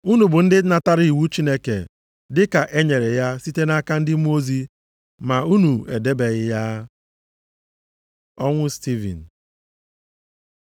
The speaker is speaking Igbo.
Unu bụ ndị natara iwu Chineke dịka e nyere ya site nʼaka ndị mmụọ ozi, ma unu edebeghị ya.” Ọnwụ Stivin